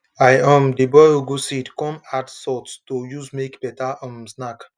i um dey boil ugu seed come add salt to use make better um snack